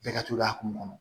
Bɛɛ ka t'o a kun